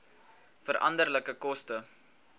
veranderlike koste